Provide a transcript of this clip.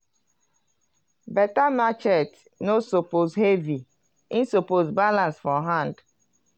beta machete no suppose heavy e suppose balance for hand.